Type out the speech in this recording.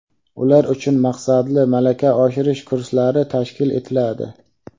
ular uchun maqsadli malaka oshirish kurslari tashkil etiladi;.